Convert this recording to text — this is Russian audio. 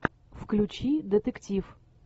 включи детектив